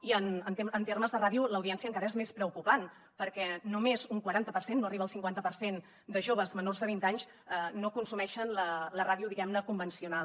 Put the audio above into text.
i en termes de ràdio l’audiència encara és més preocupant perquè només un quaranta per cent no arriba al cinquanta per cent de joves menors de vint anys no consumeixen la ràdio diguem ne convencional